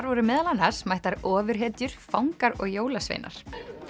voru meðal annars mættar ofurhetjur fangar og jólasveinar